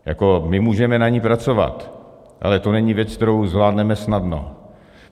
My můžeme na ní pracovat, ale to není věc, kterou zvládneme snadno.